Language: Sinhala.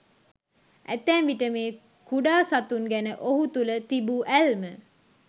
ඇතැම් විට මේ කුඩා සතුන් ගැන ඔහු තුළ තිබූ ඇල්ම